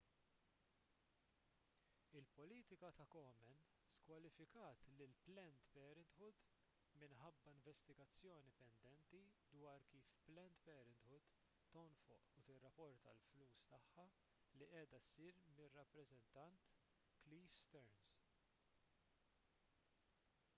il-politika ta' komen skwalifikat lil planned parenthood minħabba investigazzjoni pendenti dwar kif planned parenthood tonfoq u tirrapporta l-flus tagħha li qiegħda ssir mir-rappreżentant cliff stearns